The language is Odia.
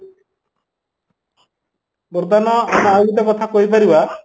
ବର୍ତ୍ତମାନ ଆମେ ଆଉ ଗୋଟେ କଥା କହିପାରିବା